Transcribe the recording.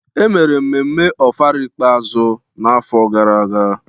Emere mmemme Ofala ikpeazụ n’afọ gara aga.